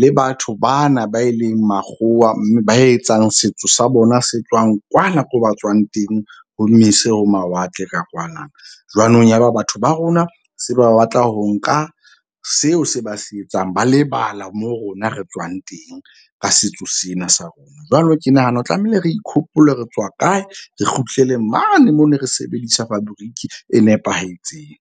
le batho bana ba e leng makgowa. Mme ba etsang setso sa bona se tswang kwana, ko ba tswang teng ho mese ho mawatle ka kwana. Jwanong ya ba batho ba rona se ba batla ho nka seo se ba se etsang, ba lebala moo rona re tswang teng ka setso sena sa rona. Jwalo ke nahana ho tlamehile re ikhopole re tswa kae re kgutlele mane mo ne re sebedisa fabriki e nepahetseng.